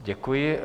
Děkuji.